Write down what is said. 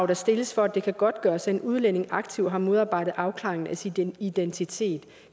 der stilles for at det kan godtgøres at en udlænding aktivt har modarbejdet afklaring af sin identitet